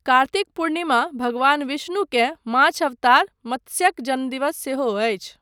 कार्तिक पूर्णिमा भगवान विष्णुकेँ माछ अवतार, मत्स्यक जन्मदिवस सेहो अछि।